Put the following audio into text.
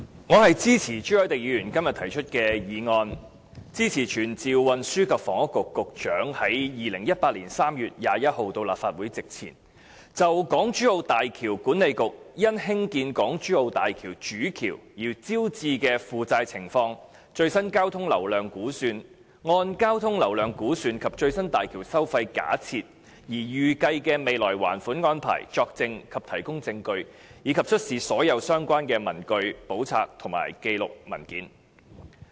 我支持朱凱廸議員今天提出的議案，以傳召運輸及房屋局局長於2018年3月21日到立法會席前，就港珠澳大橋管理局因興建港珠澳大橋主橋而招致的負債情況、最新交通流量估算、按交通流量估算及最新大橋收費假設而預計的未來還款安排，作證及提供證據，以及出示所有相關的文據、簿冊、紀錄或文件。